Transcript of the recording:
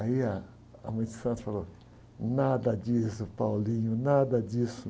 Aí ah, a mãe de santo falou, nada disso, nada disso.